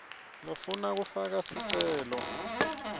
lofuna kufaka sicelo